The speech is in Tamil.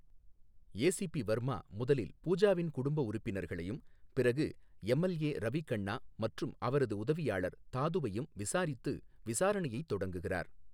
ஏசிபி வர்மா முதலில் பூஜாவின் குடும்ப உறுப்பினர்களையும் பிறகு எம்எல்ஏ ரவி கண்ணா மற்றும் அவரது உதவியாளர் தாதுவையும் விசாரித்து விசாரணையைத் தொடங்குகிறார்.